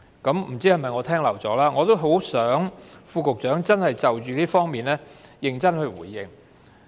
也許是我聽漏了，我希望局長可以就着這方面認真回應。